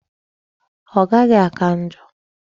Ọ gaghị áká njọ.